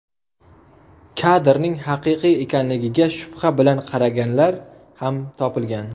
Kadrning haqiqiy ekanligiga shubha bilan qaraganlar ham topilgan.